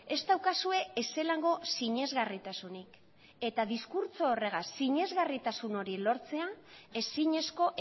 ez daukazue ezelango sinesgarritasunik eta diskurtso horregaz sinesgarritasun hori lortzea ezinezko